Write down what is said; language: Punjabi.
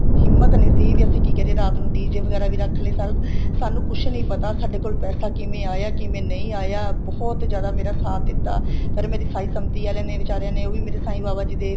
ਹਿੰਮਤ ਨਹੀਂ ਸੀ ਵੀ ਅਸੀਂ ਕੀ ਕਰੀਏ ਰਾਤ ਨੂੰ DJ ਵਗੈਰਾ ਵੀ ਰੱਖ ਲਏ ਸਾਰਾ ਕੁੱਛ ਸਾਨੂੰ ਕੁੱਛ ਨਹੀਂ ਪਤਾ ਸਾਡੇ ਪੈਸਾ ਕਿਵੇਂ ਆਇਆ ਕਿਵੇ ਨਹੀਂ ਆਇਆ ਬਹੁਤ ਜਿਆਦਾ ਮੇਰਾ ਸਾਥ ਦਿੱਤਾ ਪਰ ਮੇਰੀ ਸਾਹੀ ਸੰਪਤੀ ਆਲੀਆਂ ਨੇ ਬਿਚਾਰੀਆਂ ਨੇ ਉਹ ਵੀ ਮੇਰੇ ਸਾਂਈ ਬਾਬਾ ਜੀ ਦੇ